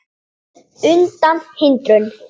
undan hindrun